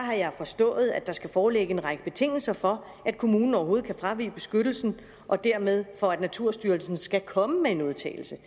jeg har forstået at der skal foreligge en række betingelser for at kommunen overhovedet kan fravige beskyttelsen og dermed for at naturstyrelsen skal komme med en udtalelse